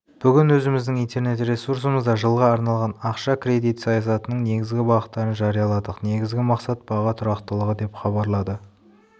бүгін өзіміздің интернет-ресурсымызда жылға арналған ақша-кредит саясатының негізгі бағыттарын жарияладық негізгі мақсат баға тұрақтылығы деп хабарлады